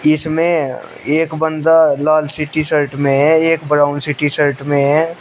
इसमें एक बंदा लाल सी टी शर्ट में है एक ब्राउन सी टी शर्ट में है।